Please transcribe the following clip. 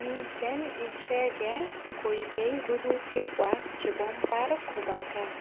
Miten ichege koipei rurutikwak chebo mbar koba kaa.